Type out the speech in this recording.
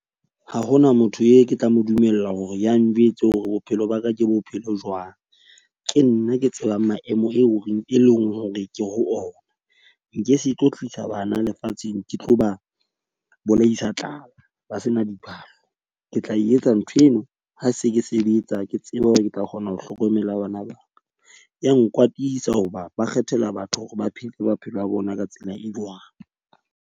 Ha hona motho e ke tla mo dumella hore ya njwetse hore bophelo ba ka ke bophelo jwang. Ke nna ke tsebang maemo eo reng e leng hore ke ho ona. Nke se tlo tlisa bana lefatsheng ke tlo ba bolaisa tlala ba sena diphahlo. Ke tla etsa ntho eno ha se ke sebetsa ke tseba hore ke tla kgona ho hlokomela . Ya nkwatisa hoba ba kgethela batho hore ba phele maphelo a bona ka tsela e jwang.